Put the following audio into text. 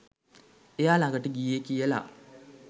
එයා ළඟට ගියේ කියලා